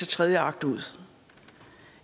tredje akt ud